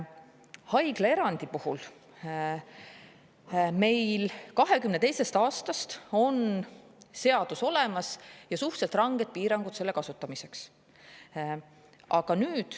Haiglaerandi puhul on meil 2022. aastast seadus olemas, kus on suhteliselt ranged piirangud selle kasutamiseks.